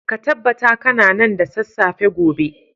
ka tabbata kana nan da sassafe gobe